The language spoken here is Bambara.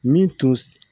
Min tun